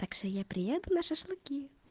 так же я приеду на шашлыки